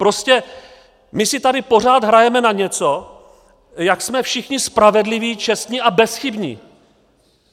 Prostě my si tady pořád hrajeme na něco, jak jsme všichni spravedliví, čestní a bezchybní.